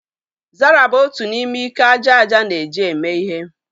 Zara bụ otu n'ime ike aja aja na-eji eme ihe